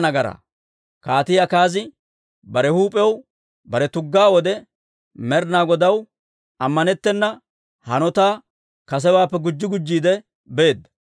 Kaatii Akaazi bare huup'iyaw bare tuggaa wode Med'inaa Godaw ammanettena hanotaa kasewaappe gujji gujjiide beedda.